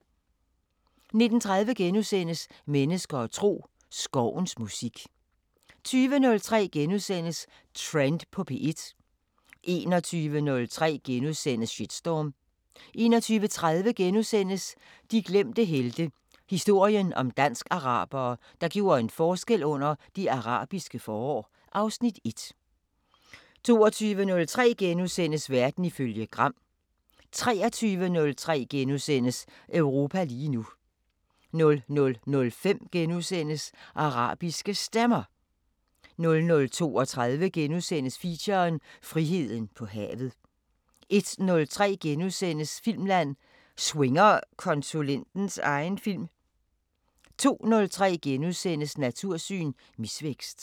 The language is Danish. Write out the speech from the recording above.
19:30: Mennesker og tro: Skovens musik * 20:03: Trend på P1 * 21:03: Shitstorm * 21:30: De glemte helte – historien om dansk-arabere, der gjorde en forskel under Det Arabiske forår (Afs. 1)* 22:03: Verden ifølge Gram * 23:03: Europa lige nu * 00:05: Arabiske Stemmer * 00:32: Feature: Friheden på havet * 01:03: Filmland: Swinger konsulentens egen film? * 02:03: Natursyn: Misvækst *